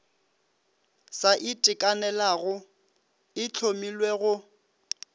sa itekanelago e hlomilwe go